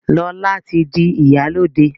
Lọla tí dì ìyálóde.